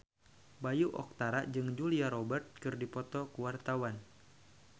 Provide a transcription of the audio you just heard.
Bayu Octara jeung Julia Robert keur dipoto ku wartawan